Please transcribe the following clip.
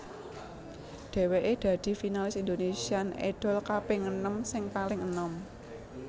Dhèwèké dadi finalis Indonesian Idol kaping enem sing paling enom